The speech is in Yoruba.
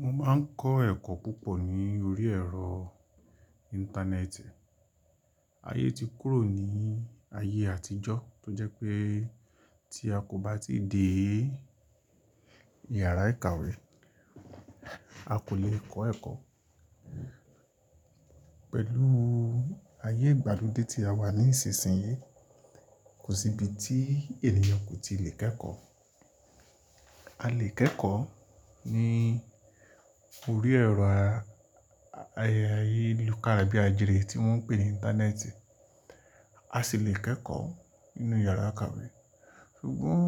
Mo máa ń kọ́ ẹ̀kọ́ púpọ̀ ní orí ẹ̀rọ Íńtánẹ́ẹ̀tì. Ayé ti kúrò ní ayé àtijọ́ tó jẹ́ pé tí a kò bá tíì dé yàrá ìkàwé, a kò le kọ́ ẹ̀kọ́. Pẹ̀lú ayé ìgbàlódé tí a wà ní ìsinsìnyí, kò sí ibi tí ènìyàn kò tí lè kẹ́kọ̀ọ́. A lè kẹ́kọ̀ọ́ ní orí ẹ̀rọ ayé ayélujára tí wọ́n ń pè ní Íńtánẹ́ẹ̀tì, a sì lè kẹ́kọ̀ọ́ nínú yàrá ìkàwé. Sugbọn